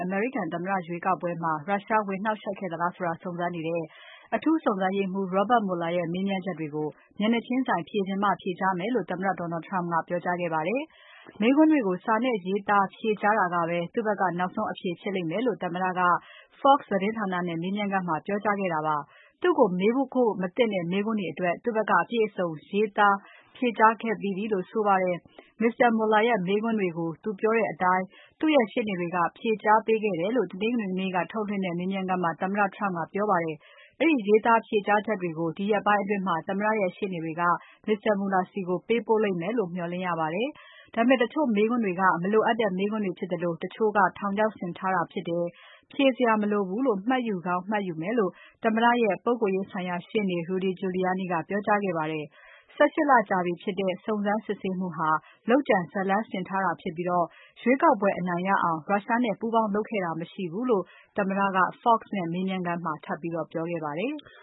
အမေရိကန်သမ္မတရွေးကောက်ပွဲမှာ ရုရှားဝင်နှောင့်ယှက်ခဲ့သလားဆိုတာ စုံစမ်းနေတဲ့ အထူးစုံစမ်းရေးမှူး Robert Mueller ရဲ့မေးမြန်းချက်တွေကို မျက်နှာချင်းဆိုင် ဖြေချင်မှ ဖြေကြားမယ်လို့ သမ္မတ Donald Trump ကပြောကြားခဲ့ပါတယ်။ မေးခွန်းတွေကို စာနဲ့ရေးသားဖြေကြားတာကပဲ သူ့ဖက်က နောက်ဆုံးအဖြေဖြစ်လိမ့်မယ်လို့ သမ္မတက Fox သတင်းဌာနနဲ့မေးမြန်းခန်းမှာ ပြောကြားခဲ့တာပါ။ သူ့ကိုမေးဖို့မသင့်တဲ့မေးခွန်းတွေအတွက် သူ့ဖက်က အပြည့်အစုံ ရေးသားဖြေကြားခဲ့ပြီးပြီလို့ဆိုပါတယ်။ Mr. Mueller ရဲ့မေးခွန်းတွေကို သူ့ပြောတဲ့အတိုင်း သူ့ရဲ့ ရှေ့နေတွေက ဖြေကြားပေးခဲ့တယ်လို့ တနင်္ဂနွေနေ့က ထုတ်လွှင့်တဲ့ မေးမြန်းခန်းမှာ သမ္မတ Trump ကပြောပါတယ်။ အဲဒီရေးသားဖြေကြားချက်တွေကို ဒီရက်ပိုင်းတွေအတွင်း သမ္မတရဲ့ ရှေ့နေတွေက Mr. Mueller ဆီကိုပေးပို့လိမ့်မယ်လို့ မျှော်လင့်ရပါတယ်။ ဒါပေမဲ့ တချို့မေးခွန်းတွေက မလိုအပ်တဲ့မေးခွန်းတွေဖြစ်သလို တချို့က ထောင်ချောက်ဆင်ထားတာဖြစ်တယ်၊ ဖြေစရာမလိုဘူးလို့မှတ်ယူကောင်းမှတ်ယူမယ်လို့ သမ္မတရဲ့ ပုဂ္ဂိုလ်ရေးဆိုင်ရာရှေ့နေ Rudy Giuliani ကပြောကြားခဲ့ပါတယ်။ ၁၈ လကြာပြီဖြစ်တဲ့ စုံစမ်းစစ်ဆေးမှုဟာ လုပ်ကြံဇတ်လမ်းဆင်ထားတာဖြစ်ပြီး ရွေးကောက်ပွဲအနိုင်ရအောင် ရုရှားနဲ့ပူးပေါင်းလုပ်ခဲ့တာ မရှိဘူးလို့ သမ္မတက Fox နဲ့မေးမြန်းခန်းမှာ ထပ်ပြောခဲ့ပါတယ်။